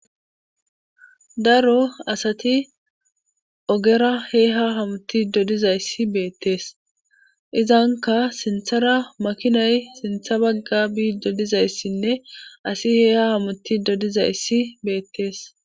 Daro asati ogera hee ha hamuti dodizayssi beettees izanka sinthara makinay sintha bagga biidodizayssinne asi heeha hamuti dodizayssi beettees.